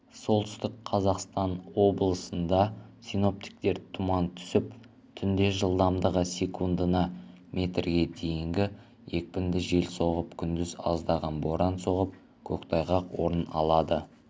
солтүстік қазақстан облысында синоптиктер тұман түсіп түнде жылдамдығы секундына метрге дейінгі екпінді жел соғып күндіз аздаған боран соғып көктайғақ орын алады